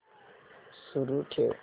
सुरू ठेव